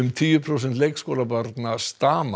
tíu prósent leikskólabarna stama